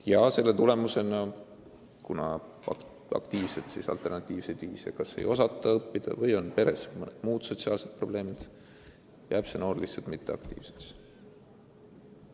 Ja kuna ta mingit alternatiivset viisi õppimiseks ei oska kasutada või on peres mingid sotsiaalsed probleemid, siis ta muutubki mitteaktiivseks.